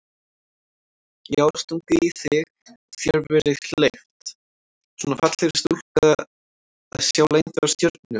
Já stungið í þig og þér verið leyft, svona fallegri stúlku að sjá leyndar stjörnur?